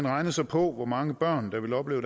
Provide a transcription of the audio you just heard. regnede så på hvor mange børn der ville opleve